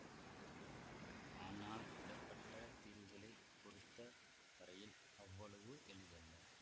ஆனால் விடபட்டத் தீர்வுகளைப் பொறுத்த வரையில் அவ்வளவு எளிதல்ல